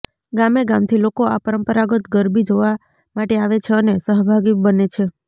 ગામેગામથી લોકો આ પરંપરાગત ગરબી જોવા માટે આવે છે અને સહભાગી બને છે